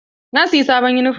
Na siyi sabuwar yunifom.